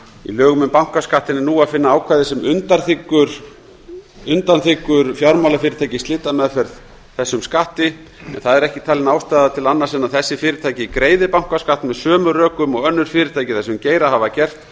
í lögum um bankaskattinn er nú að finna ákvæði sem undanþiggur fjármálafyrirtæki í slitameðferð þessum skatti ekki er talin ástæða til annars en að þessi fyrirtæki greiði bankaskatt með sömu rökum og önnur fyrirtæki í þessum geira hafa gert